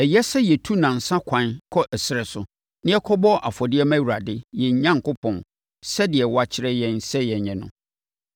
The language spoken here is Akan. Ɛsɛ sɛ yɛtu nnansa ɛkwan kɔ ɛserɛ so, na yɛkɔbɔ afɔdeɛ ma Awurade, yɛn Onyankopɔn, sɛdeɛ wakyerɛ yɛn sɛ yɛnyɛ no.”